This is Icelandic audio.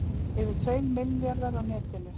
Yfir tveir milljarðar á netinu